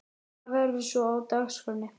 Hvað verður svo á dagskránni?